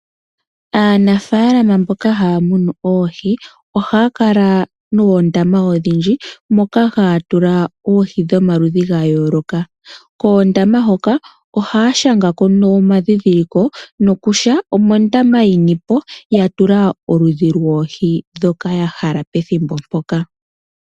Aanafaalama mboka haya munu oohi ohaya kala noondama odhindji moka haya tula oohi dhomaludhi ga yooloka. Koondama hoka ohaya shanga ko omadhindhiliko kutya omondama yini po ya tula oludhi lwoohi ndhoka ya hala pethimbo mpoka.